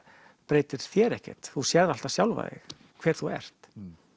breytir þér ekkert þú sérð alltaf sjálfan þig hver þú ert